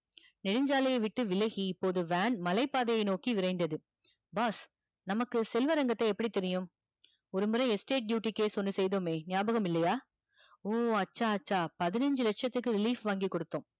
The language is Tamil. நெடுஞ்சாலைய விட்டு விலகி இப்போது van மலை பாதையை நோக்கி விரைந்தது boss நமக்கு செல்வரங்கத்த எப்படி தெரியும் ஒரு முறை estate duty case ஒன்னு செய்தோமே நியாபகம் இல்லையா வூ அச்சா அச்சா பதினஞ்சி லட்சத்துக்கு lease வாங்கி குடுத்தோம்